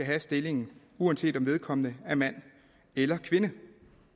have stillingen uanset om vedkommende er mand eller kvinde